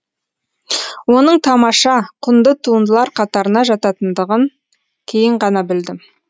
оның тамаша құнды туындылар қатарына жататындығын кейін ғана білдім